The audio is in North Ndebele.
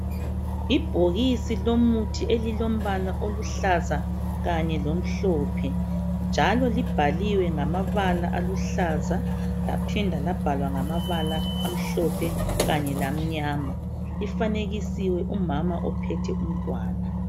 Ibhokisi lomuthi elilombala oluhlaza kanye lomhlophe njalo libhaliwe ngamabala aluhlaza laphinda labhalwa ngamabala amhlophe kanye lamnyama. Lifanekisiwe umama ophethe umntwana.